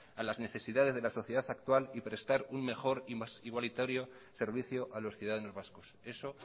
a las necesidades de la sociedad actual y prestar un mejor e igualitario servicio a los ciudadanos vascos eso